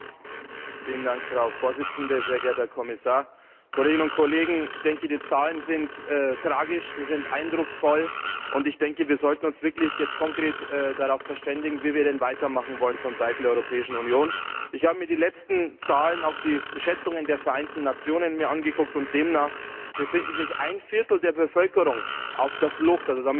Frau Präsidentin, Herr Kommissar, Kolleginnen und Kollegen! Die Zahlen sind tragisch, sie sind eindrucksvoll, und ich denke, wir sollten uns jetzt wirklich konkret darauf verständigen, wie wir denn weitermachen wollen vonseiten der Europäischen Union. Ich habe mir die letzten Zahlen, auch die Schätzungen der Vereinten Nationen angesehen, und demnach befindet sich ein Viertel der Bevölkerung auf der Flucht.